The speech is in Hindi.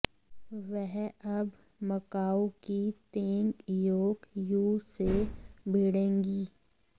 वह अब मकाउ की तेंग इयोक यू से भिड़ेंगी